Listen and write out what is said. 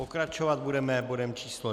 Pokračovat budeme bodem číslo